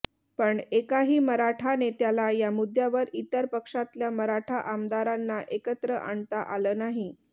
पण एकाही मराठा नेत्याला या मुद्द्यावर इतर पक्षातल्या मराठा आमदारांना एकत्र आणता आलं नाही